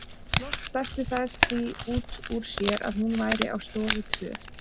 Loks dæstu þær því út úr sér að hún væru á stofu tvö.